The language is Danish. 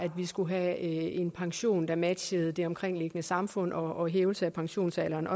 at vi skulle have en pension der matchede det omkringliggende samfund og en hævelse af pensionsalderen